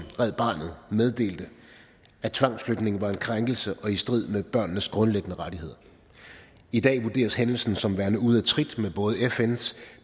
red barnet meddelte at tvangsflytningen var en krænkelse og i strid med børnenes grundlæggende rettigheder i dag vurderes hændelsen som værende ude af trit med både fns